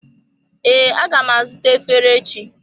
Ee, aga m azụta efere echi.